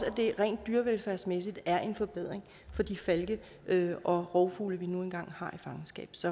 at det rent dyrevelfærdsmæssigt er en forbedring for de falke og rovfugle vi nu engang har i fangenskab så